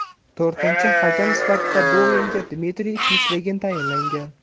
To‘rtinchi hakam sifatida bu o‘yinga Dmitriy Pislegin tayinlangan.